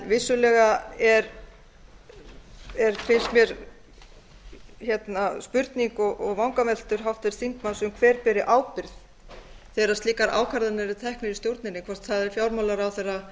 vissulega er finnst mér spurning og vangaveltur háttvirts þingmanns um hver beri ábyrgð þegar slíkar ákvarðanir eru teknar í stjórninni hvort það er fjármálaráðherra